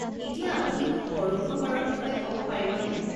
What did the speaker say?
এতিয়া আপুনি মোক পৰোক্ষ কৰৰ বিষয়ে কব পাৰিবনে?